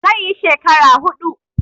He will spend four years.